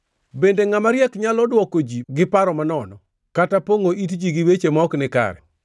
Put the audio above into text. “Bende ngʼama riek nyalo dwoko ji gi paro manono kata pongʼo it ji gi weche ma ok nikare?